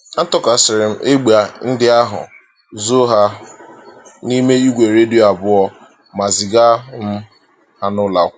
Atụkasịrị m egbe ndị ahụ, zoo ha ha n’ime igwe redio abụọ, ma ziga um ha n'ụlọ.